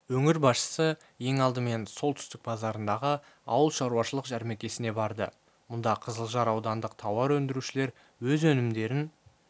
өңір басшысы ең алдымен солтүстік базарындағы ауылшаруашылық жәрмеңкесіне барды мұнда қызылжар аудандық тауар өндірушілер өз өнімдерін